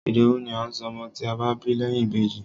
Ìdòwú ni à ń sọ ọmọ tí a bá bí lẹ́yìn Ìbejì.